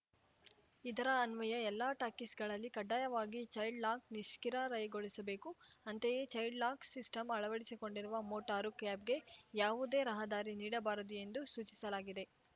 ಇದರ ಅನ್ವಯ ಎಲ್ಲ ಟ್ಯಾಕ್ಸಿಗಳಲ್ಲಿ ಕಡ್ಡಾಯವಾಗಿ ಚೈಲ್ಡ್‌ಲಾಕ್‌ ನಿಷ್ಕ್ರಿರ ಯಗೊಳಿಸಬೇಕು ಅಂತೆಯೇ ಚೈಲ್ಡ್‌ಲಾಕ್‌ ಸಿಸ್ಟಂ ಅಳವಡಿಸಿಕೊಂಡಿರುವ ಮೋಟಾರು ಕ್ಯಾಬ್‌ಗೆ ಯಾವುದೇ ರಹದಾರಿ ನೀಡಬಾರದು ಎಂದು ಸೂಚಿಸಲಾಗಿದೆ